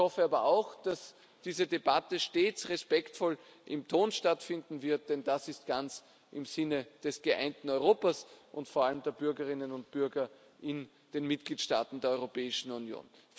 Ich hoffe aber auch, dass diese Debatte stets respektvoll im Ton stattfinden wird, denn das ist ganz im Sinne des geeinten Europas und vor allem der Bürgerinnen und Bürger in den Mitgliedstaaten der Europäischen Union.